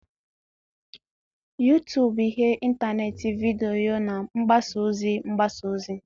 YouTube bụ ihe ntanetị vidiyo na mgbasa ozi mgbasa ozi